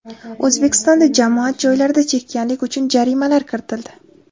O‘zbekistonda jamoat joylarida chekkanlik uchun jarimalar kiritildi.